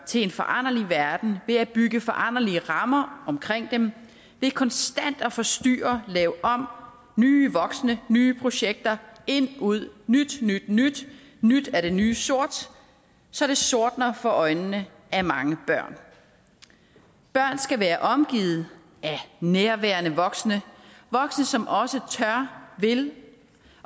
til en foranderlig verden ved at bygge foranderlige rammer omkring dem ved konstant at forstyrre lave om nye voksne nye projekter ind ud nyt nyt nyt nyt er det nye sort så det sortner for øjnene af mange børn børn skal være omgivet af nærværende voksne voksne som også tør vil